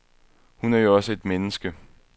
Hun er jo også et menneske.